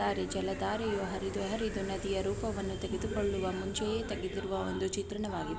ಜಲಧಾರೆಯು ಹರಿದು ಹರಿದು ನದಿಯ ರೂಪವನ್ನು ತೆಗೆದುಕೊಳ್ಳುವ ಮುಂಚೆಯೇ ತೆಗೆದಿರುವ ಒಂದು ಚಿತ್ರಣವಾಗಿದೆ.